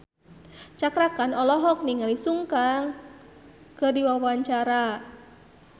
Cakra Khan olohok ningali Sun Kang keur diwawancara